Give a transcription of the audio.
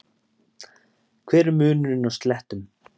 hver er munurinn á slettum